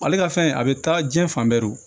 Ale ka fɛn a bɛ taa diɲɛ fan bɛɛ